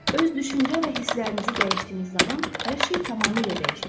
Öz düşüncə və hisslərinizi dəyişdiyiniz zaman hər şey tamamilə dəyişəcək.